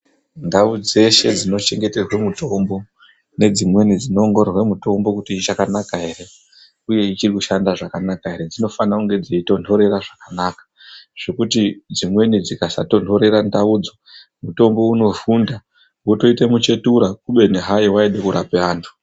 Ndawo dzeshe dzinochengetedza mitombo, nedzimweni dzino wongororwa mitombo kuti ichakanaka here, uye ichirikushanda zvakanaka here, zvinofanire kunge dziyi tondorera zvakanaka zvekuti dzimweni dzikasa tondorera ndawodzo mutombo unofunda wotoite mitsvetura uye haindi korapa vantu.